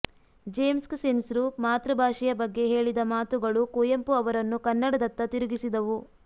ಜೇಮ್ಸ್ಕಸಿನ್ಸ್ರು ಮಾತೃಬಾಷೆಯ ಬಗ್ಗೆ ಹೇಳಿದ ಮಾತುಗಳು ಕುವೆಂಪೊ ಅವರನ್ನು ಕನ್ನಡದತ್ತ ತಿರುಗಿಸಿದವು